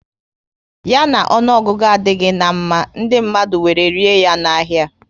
Ya na ọnụọgụgụ adịghị na mma, ndị mmadụ were rie ya na ahia